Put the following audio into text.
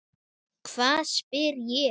Hvað? spyr ég.